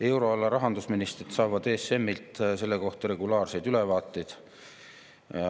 Euroala rahandusministrid saavad ESM‑ilt selle kohta regulaarseid ülevaateid.